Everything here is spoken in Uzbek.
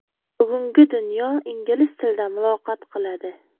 Bugungi dunyo ingliz tilida muloqot qiladi.